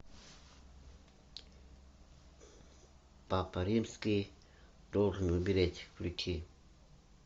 папа римский должен умереть включи